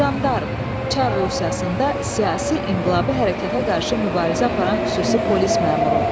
Jandarm, çar Rusiyasında siyasi inqilabi hərəkata qarşı mübarizə aparan xüsusi polis məmuru.